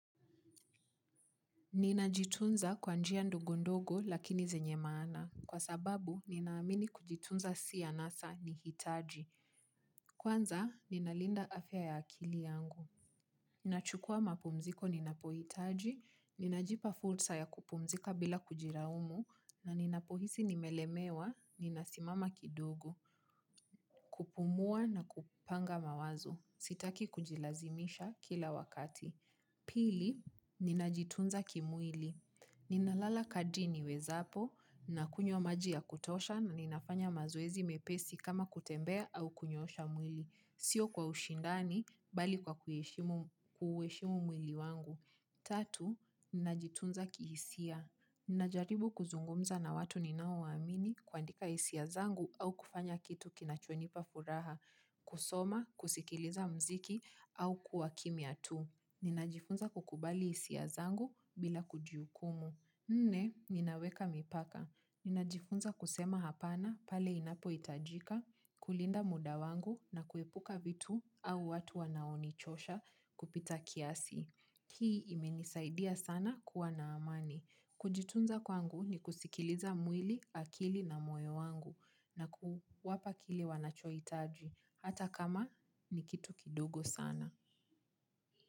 Ninajitunza kwa njia ndogondogo lakini zenye maana. Kwa sababu, ninaamini kujitunza si anasa nihitaji. Kwanza, ninalinda afya ya akili yangu. Ninachukua mapumziko ninapohitaji, ninajipa fursa ya kupumzika bila kujilaumu, na ninapohisi nimelemewa, ninasimama kidogo, kupumua na kupanga mawazo, sitaki kujilazimisha kila wakati. Pili, ninajitunza kimwili. Ninalala kadri niwezapo na kunywa maji ya kutosha na ninafanya mazoezi mepesi kama kutembea au kunyoosha mwili. Sio kwa ushindani bali kwa kuheshimu mwili wangu. Tatu, ninajitunza kihisia. Ninajaribu kuzungumza na watu ninaowaamini kuandika hisia zangu au kufanya kitu kinachonipa furaha, kusoma, kusikiliza muziki au kuwa kimya tu. Ninajifunza kukubali hisia zangu bila kujihukumu. Nne, ninaweka mipaka. Ninajifunza kusema hapana pale inapohitajika, kulinda muda wangu na kuepuka vitu au watu wanaonichosha kupita kiasi. Hii imenisaidia sana kuwa na amani. Kujitunza kwangu ni kusikiliza mwili, akili na moyo wangu na kuwapa kile wanachoitaji. Hata kama ni kitu kidogo sana.